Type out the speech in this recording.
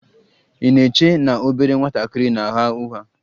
Ị na-eche na obere nwatakịrị na-agha ụgha?